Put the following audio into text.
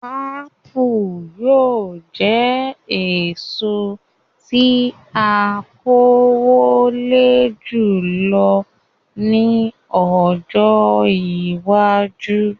Ápù yóò jẹ èso tí a kó wọlé jùlọ ní ọjọ́ iwájú